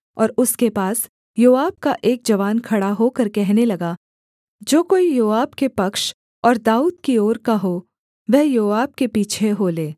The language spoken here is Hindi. और उसके पास योआब का एक जवान खड़ा होकर कहने लगा जो कोई योआब के पक्ष और दाऊद की ओर का हो वह योआब के पीछे हो ले